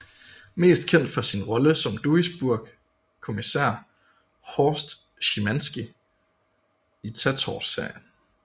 Mest kendt for sin rolle som Duisburg kommisær Horst Schimanski i Tatort serien